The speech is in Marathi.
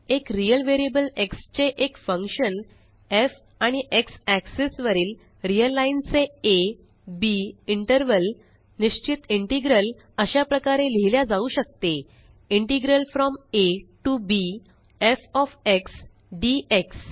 एक रिअल व्हेरिएबल xचे एक फंक्शन एफ आणि एक्स एक्सिस वरील रिअल लाइन चे आ बी इंटर्वल निश्चित इंटेग्रल अशा प्रकारे लिहिल्या जाऊ शकतेintegral from A T O B F O F X dx